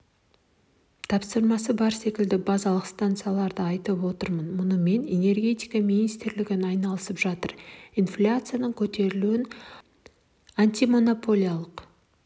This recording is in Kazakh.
тапсырмасы бар секілді базалық станцияларды айтып отмын мұнымен энергетика министрлігі айналысып жатыр инфляцияның көтерілуін антимонополиялық